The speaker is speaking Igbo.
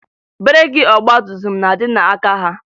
Breeki ọgbatumtum na-adị n'aka ha